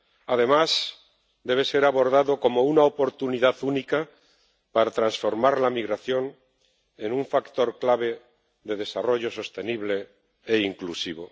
Además, debe ser abordado como una oportunidad única para transformar la migración en un factor clave de desarrollo sostenible e inclusivo.